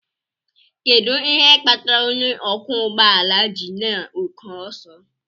Kedu ihe kpatara onye ọkwọ ụgbọ ala ji na oke ọsọ?